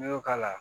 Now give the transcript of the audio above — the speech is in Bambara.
N'i y'o k'a la